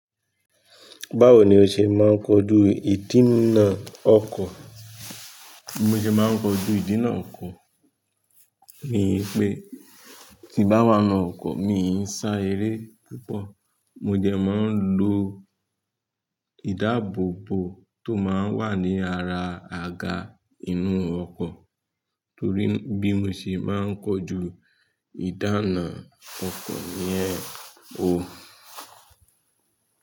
Báwo ni o ṣe máa ń kojú ìdínà ọkọ̀? Mo ṣe máa ń kojú ìdínà ọkọ̀ ní pé tín bá wan nu ọ́kọ̀, mi ò sá eré púpọ̀. Mo jẹ máa ń lo ìdáàbòbò tó máa ń wà ní ara àga inú ọkọ̀ torí bí mo ṣe máa ń kojú ìdáná ọkọ̀ yẹn o.